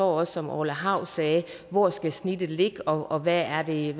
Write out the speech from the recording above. også orla hav sagde hvor skal snittet ligge og hvad er det